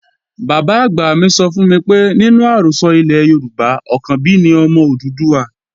Bàbá-àgbà mi sọ fún mi pé nínú àrọ́sọ ilẹ̀ Yorùbá, Ọ̀kànbí ni ọmọ Odùduwà